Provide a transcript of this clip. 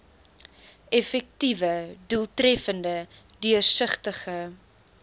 effektiewe doeltreffende deursigtige